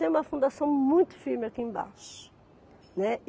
Tem uma fundação muito firme aqui embaixo, né.